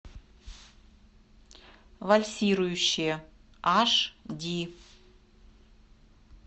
вальсирующие аш ди